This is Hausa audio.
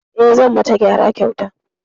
I, zanyi mata gyara kyauta